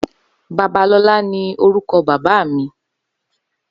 Babalola ni órúkò bàbá mi